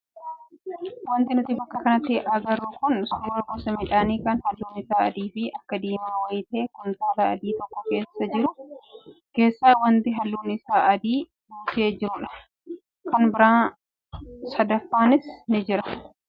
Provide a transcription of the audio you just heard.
Wanti nuti bakka kanatti agarru kun suuraa gosa midhaanii kan halluun isaa adii fi akka diimaa wayii ta'ee kuntaala adii tokko keessajiru akkasumas kuntaala magariisa keessa wanti halluun isaa adiis guutee jirudha. Kan biraa sadaffaanis ni jira.